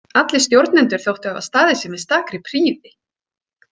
Allir stjórnendur þóttu hafa staðið sig með stakri prýði.